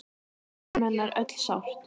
Við söknum hennar öll sárt.